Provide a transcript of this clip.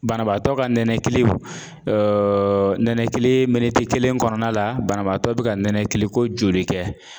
Banabaatɔ ka nɛnɛkili nɛnɛkili, miniti kelen kɔnɔna la banabaatɔ bɛ ka nɛnɛkili ko joli kɛ.